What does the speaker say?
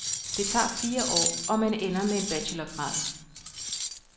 Det tager fire år og man ender med en bachelorgrad.